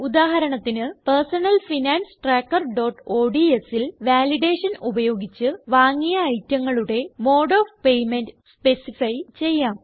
ഉദാഹരണത്തിന് Personal Finance Trackerodsൽ validation ഉപയോഗിച്ച് വാങ്ങിയ ഐറ്റങ്ങളുടെ മോഡ് ഓഫ് പേയ്മെന്റ് സ്പെസിഫൈ ചെയ്യാം